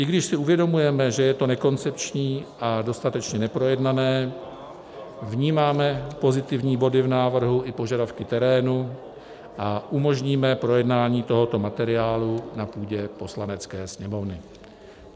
I když si uvědomujeme, že je to nekoncepční a dostatečně neprojednané, vnímáme pozitivní body v návrhu i požadavky terénu a umožníme projednání tohoto materiálu na půdě Poslanecké sněmovny.